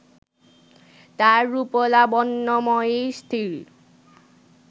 তার রূপলাবণ্যময়ী স্ত্রীর